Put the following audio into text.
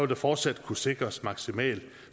der fortsat kunne sikres maksimal